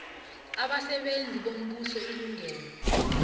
abasebenzi bombuso ilungelo